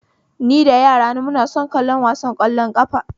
Ni da yarana muna son kallo wasan ƙwallon ƙafa